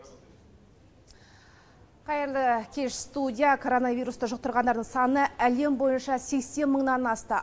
қайырлы кеш студия короновирусты жұқтырғандардың саны әлем бойынша сексен мыңнан асты